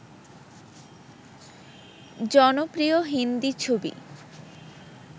জনপ্রিয় হিন্দি ছবি